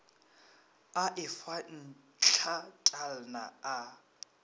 a e fa ntlatalna a